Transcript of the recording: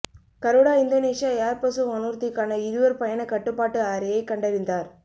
Garuda Indonesia Airbus வானூர்திக்கான இருவர் பயணக் கட்டுப்பாட்டு அறையை கண்டறிந்தார்